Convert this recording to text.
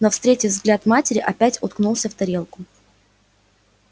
но встретив взгляд матери опять уткнулся в тарелку